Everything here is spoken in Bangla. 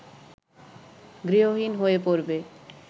গৃহহীন হয়ে পড়বে